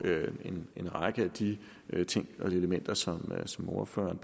en række af de ting og elementer som ordføreren